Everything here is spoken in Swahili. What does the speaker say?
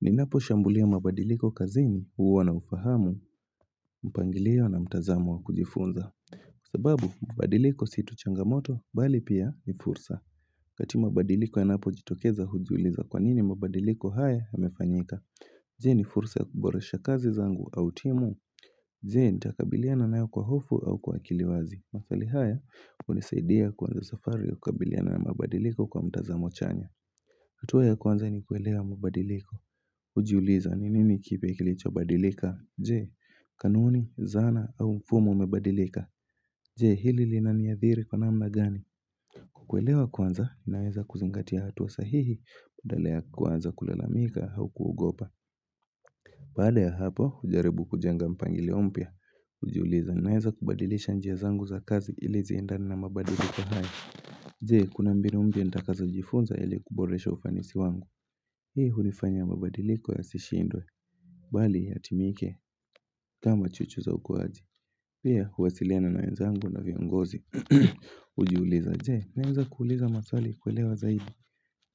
Ni napo shambulia mabadiliko kazini uwa na ufahamu. Mpangilio na mtazamo wa kujifunza. Sababu mabadiliko sito changamoto bali pia ni fursa. Kati mabadiliko ya napo jitokeza hujuliza kwanini mabadiliko haya hamefanyika Zee ni fursa kuboresha kazi zangu au timu Zee nitakabiliana naeo kwa hofu au kwa kiliwazi Masali haya unisaidia kwanza zafario kabiliana na mabadiliko kwa mtazamo chanya. Hatuwa ya kwanza ni kuelewa mabadiliko. Ujiuliza ni nini kipe kilicho badilika Jee, kanuni, zana au mfumo mebadilika. Jee, hili li nani ya thiri kwa nama gani. Kukuelewa kwanza, inaweza kuzingatia hatu wa sahihi Udalea kwanza kulelamika au kugopa. Bade ya hapo, ujaribu kujanga mpangili umpia Ujiuliza, inaweza kubadilisha njia zangu za kazi ilizi indani na mabadiliko hai. Jee, kuna mbini umpia ndakaza ujifunza ili kuboresha ufanisi wangu. Hii hulifanya mabadiliko ya sishindwe, bali ya timike, kama chuchu za ukuwazi. Pia, huwasiliana na nainzangu na vyangozi. Ujiuliza, jen, naeweza kuuliza mathali kuwelewa zaibu.